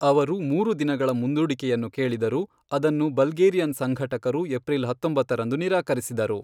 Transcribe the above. ಅವರು ಮೂರು ದಿನಗಳ ಮುಂದೂಡಿಕೆಯನ್ನು ಕೇಳಿದರು, ಅದನ್ನು ಬಲ್ಗೇರಿಯನ್ ಸಂಘಟಕರು ಏಪ್ರಿಲ್ ಹತ್ತೊಂಬತ್ತರಂದು ನಿರಾಕರಿಸಿದರು.